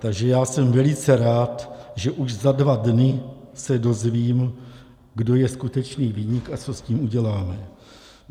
Takže já jsem velice rád, že už za dva dny se dozvím, kdo je skutečný viník a co s tím uděláme.